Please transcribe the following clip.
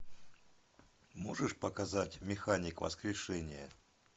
можешь показать механик воскрешение